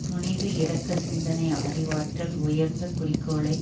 துணிவு இரக்க சிந்தை அறிவாற்றல் உயர்ந்த குறிக்கோளை